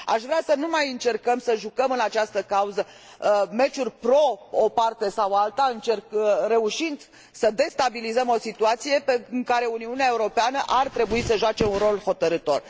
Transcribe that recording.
Aș vrea să nu mai încercăm să jucăm în această cauză meciuri în favoarea uneia sau alteia dintre părți, reușind să destabilizăm o situație în care Uniunea Europeană ar trebui să joace un rol hotărâtor.